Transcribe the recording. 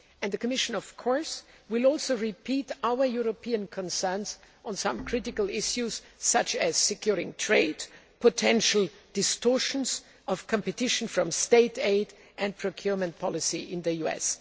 And the Commission, of course, will also repeat our European concerns on some critical issues such as securing trade, potential distortions of competition from State aid and procurement policy in the US.